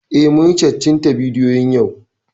Eh, mun yi cattin ta bidiyo yau